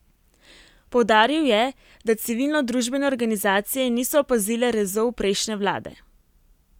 Poudaril je, da civilno družbene organizacije niso opazile rezov prejšnje vlade.